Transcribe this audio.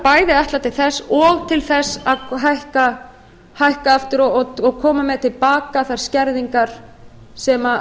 bæði ætlað til þess og til þess að hækka aftur og koma með til baka þær skerðingar sem